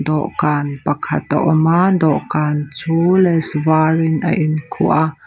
dawhkan pakhat a awm a dawhkan chu lace var in a inkhuh a.